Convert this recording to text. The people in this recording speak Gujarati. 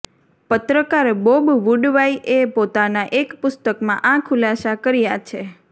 પત્રકાર બોબ વુડવાઈએ પોતાના એક પુસ્તકમાં આ ખુલાસા કર્યા છે